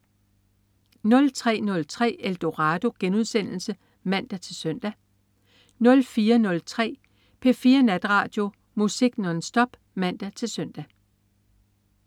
03.03 Eldorado* (man-søn) 04.03 P4 Natradio. Musik nonstop (man-søn)